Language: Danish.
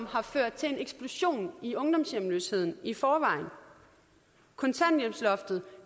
har ført til en eksplosion i ungdomshjemløsheden kontanthjælpsloftet